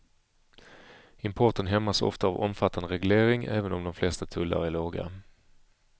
Importen hämmas ofta av omfattande reglering även om de flesta tullar är låga.